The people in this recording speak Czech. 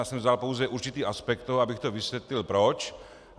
Já jsem vzal pouze určitý aspekt toho, abych to vysvětlil proč.